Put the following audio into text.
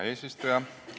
Hea eesistuja!